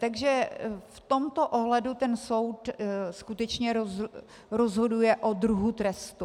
Takže v tomto ohledu ten soud skutečně rozhoduje o druhu trestu.